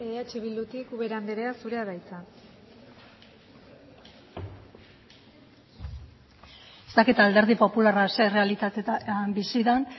eh bildutik ubera andrea zurea da hitza ez dakit alderdi popularra zein errealitatetan bizi den